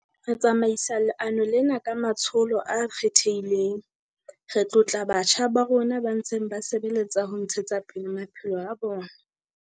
Re tsamaisa leano lena ka matsholo a kgethehileng. Re tlotla batjha ba rona ba ntseng ba sebeletsa ho ntshetsa pele maphelo a bona.